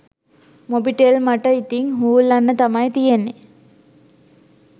මොබිටෙල් මට ඉතින් හූල්ලන්න තමයි තියෙන්නේ